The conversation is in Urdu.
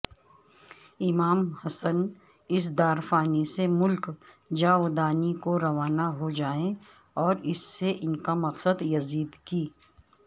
امام حسن اس دارفانی سے ملک جاودانی کوروانہ ہوجائیں اوراس سے ان کامقصدیزیدکی